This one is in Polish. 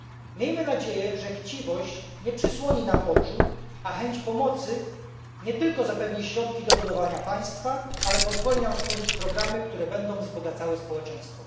Miejmy nadzieję, że chciwość nie zasłoni nam oczu, a chęć pomocy nie tylko zapewni środki do budowania państwa, ale pozwoli nam stworzyć programy, które będą wzbogacały społeczeństwo.